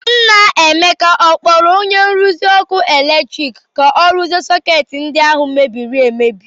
Nna Emeka a kpọrọ onye nruzi ọkụ eletrik ka ọ rụzie sọketị ndi ahụ mebiri emebi?